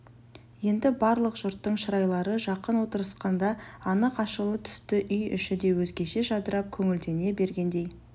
енді барлық жұрттың шырайлары жақын отырысқанда анық ашыла түсті үй іші де өзгеше жадырап көңілдене бергендей